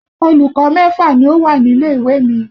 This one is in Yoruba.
Olùkọ́ mẹ́fà ni ó wà nílé ìwé mi.